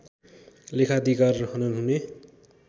लेखाधिकार हनन् हुने